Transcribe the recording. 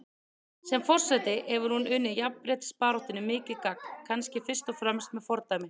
Sem forseti hefur hún unnið jafnréttisbaráttunni mikið gagn, kannski fyrst og fremst með fordæmi.